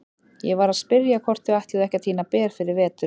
Ég var að spyrja hvort þau ætluðu ekki að tína ber fyrir veturinn.